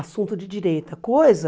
Assunto de direita, coisa...